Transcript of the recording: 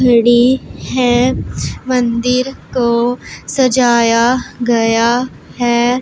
खड़ी है मंदिर को सजाया गया है।